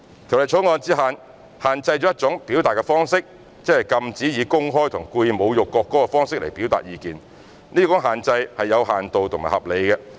《條例草案》只限制一種表達方式，即禁止市民以公開和故意侮辱國歌的方式表達意見，這種限制是有限度和合理的。